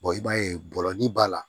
i b'a ye bɔlɔnni b'a la